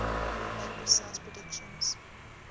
make precise predictions